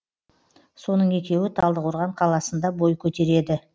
соның екеуі талдықорған қаласында бой көтереді